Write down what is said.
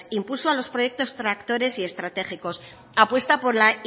impulso a los proyectos tractores y estratégicos apuesta por la